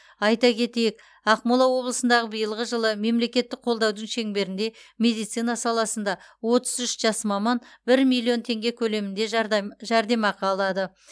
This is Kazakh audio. айта кетейік ақмола облысындағы биылғы жылы мемлекеттік қолдаудың шеңберінде медицина саласында отыз үш жас маман бір миллион теңге көлемінде жәрдем жәрдемақы алады